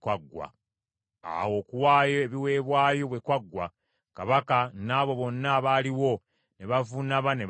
Awo okuwaayo ebiweebwayo bwe kwaggwa, kabaka n’abo bonna abaaliwo ne bavuunama ne basinza.